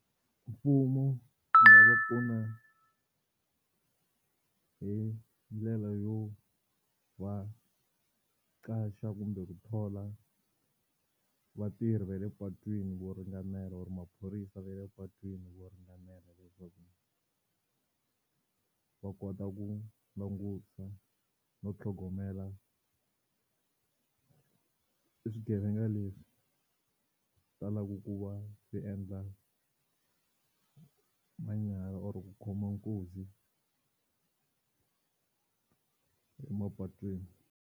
Mfumo wu nga va pfuna hi ndlela yo va qasha kumbe ku thola vatirhi va le patwini vo ringanela or maphorisa va le patwini vo ringanela leswaku va kota ku langusa no tlhogomela e swigevenga leswi talaka ku va swi endla manyala or ku khoma nkunzi emapatwini.